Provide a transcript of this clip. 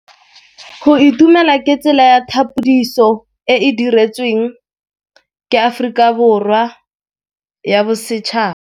Go itumela ke tsela ya tlhapolisô e e dirisitsweng ke Aforika Borwa ya Bosetšhaba.